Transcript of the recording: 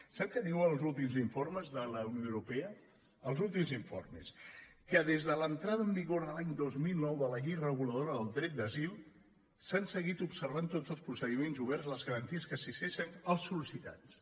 sap què diuen els últims informes de la unió europea els últims in·formes que des de l’entrada en vigor l’any dos mil nou de la llei reguladora del dret d’asil s’han seguit obser·vant tots els procediments oberts i les garanties que assisteixen els sol·licitats